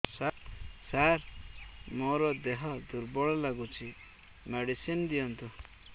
ସାର ମୋର ଦେହ ଦୁର୍ବଳ ଲାଗୁଚି ମେଡିସିନ ଦିଅନ୍ତୁ